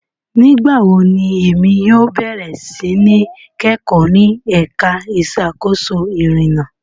Nigbawo ni emi yóò bẹrẹ si ni kẹkọ ni ẹka iṣakoso irinna?